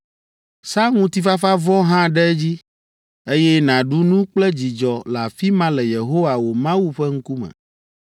“Sa ŋutifafavɔ hã ɖe edzi, eye nàɖu nu kple dzidzɔ le afi ma le Yehowa wò Mawu ƒe ŋkume.